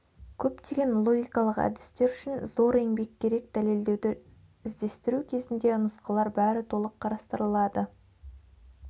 көптеген логикалық әдістер үшін зор еңбек керек дәлелдеуді іздестіру кезінде нұсқалар бәрі толық қарастырылады